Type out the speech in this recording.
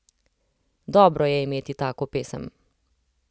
Dobro je imeti tako pesem.